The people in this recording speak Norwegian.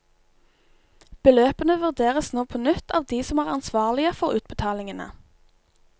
Beløpene vurderes nå på nytt av de som er ansvarlige for utbetalingene.